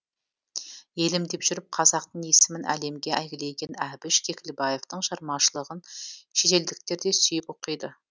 елім деп жүріп қазақтың есімін әлемге әйгілеген әбіш кекілбаевтың шығармашылығын шетелдіктер де сүйіп оқиды